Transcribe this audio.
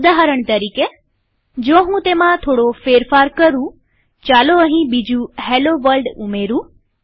ઉદાહરણ તરીકેજો હું તેમાં થોડો ફેરફાર કરુંચાલો અહીં બીજું હેલ્લો વર્લ્ડ ઉમેરું